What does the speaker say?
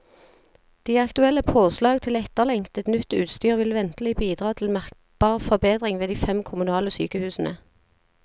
De aktuelle påslag til etterlengtet, nytt utstyr vil ventelig bidra til merkbar forbedring ved de fem kommunale sykehusene.